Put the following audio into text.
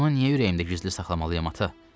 Bunu niyə ürəyimdə gizli saxlamalıyam, ata?